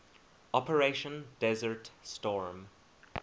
operation desert storm